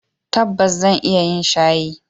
Tabbas zan iya yin shayi.